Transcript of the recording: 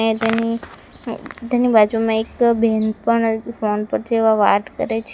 ને તેની તેની બાજુમાં એક બેન પણ ફોન પર જેવા વાત કરે છે.